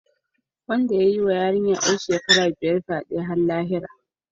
Wanda ya yi wa yarinya ‘yar shekara biyar fyade har lahira.